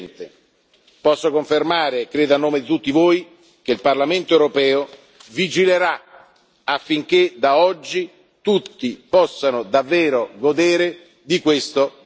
Posso confermare, credo a nome di tutti voi, che il Parlamento europeo vigilerà affinché da oggi tutti possano davvero godere di questo beneficio.